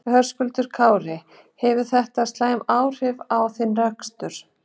Höskuldur Kári: Hefur þetta slæm áhrif á þinn rekstur?